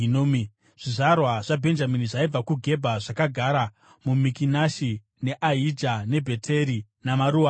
Zvizvarwa zvaBhenjamini zvaibva kuGebha zvakagara muMikimashi, neAija neBheteri namaruwa acho,